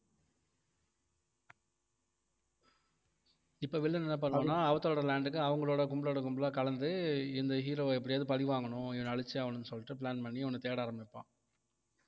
இப்ப வில்லன் என்ன பண்றான்னா அவதாரோட land க்கு அவங்களோட கும்பலோட கும்பலா கலந்து இந்த hero வ எப்படியாவது பழி வாங்கணும் இவனை அழிச்சே ஆகணும்ன்னு சொல்லிட்டு plan பண்ணி இவனை தேட ஆரம்பிப்பான்